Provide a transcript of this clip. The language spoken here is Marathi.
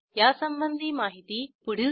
यासंबंधी माहिती पुढील साईटवर उपलब्ध आहे